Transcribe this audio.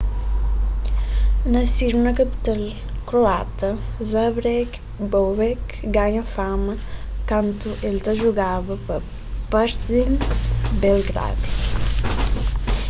nasidu na kapital kroata zagreb bobek ganha fama kantu el ta jugaba pa partizan belgradu